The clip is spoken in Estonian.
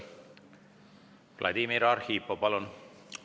Vladimir Arhipov, palun!